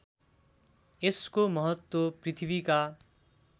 यसको महत्त्व पृथ्वीका